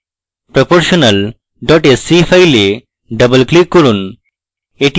proportional dot sce file double click করুন